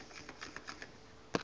eldorado